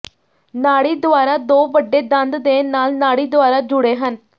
ਨਾੜੀ ਦੁਆਰਾ ਦੋ ਵੱਡੇ ਦੰਦ ਦੇ ਨਾਲ ਨਾੜੀ ਦੁਆਰਾ ਜੁੜੇ ਹਨ